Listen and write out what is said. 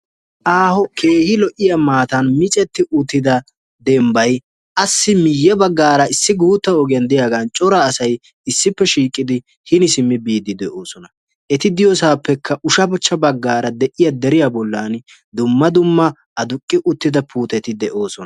Aaho keehi lo'iyaa maatan micetti uttida dembbay asi miye baggaara issi guutta ogiyaan de'iyaagan cora asay issippe shiiqidi hini simmi biiddi de''oosona. eti diyoosappekka ushshachcha baggaara de'iyaa deriyaa bollan dumma dumma aduqi uttida puutetti de'oosona.